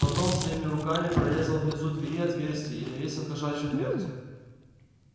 потом своими руками прорезал внизу двери отверстие и навесил кошачью дверцу